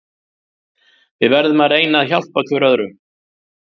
Við verðum að reyna að hjálpa hver öðrum.